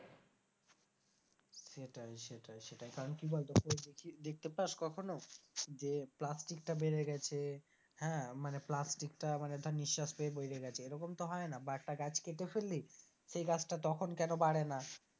সেটাই সেটাই সেটাই কারণ দেখতে পাস কখনো যে plastic টা বেড়ে গেছে হ্যাঁ মানে plastic টা মানে ধর নিঃশ্বাস পেয়ে বেড়ে গেছে এরকম তো হয় না বা একটা গাছ কেটে ফেললি সে গাছটা তখন কেন বাড়ে না?